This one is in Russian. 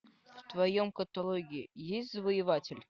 в твоем каталоге есть завоеватель